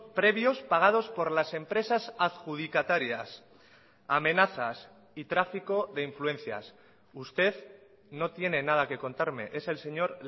previos pagados por las empresas adjudicatarias amenazas y tráfico de influencias usted no tiene nada que contarme es el señor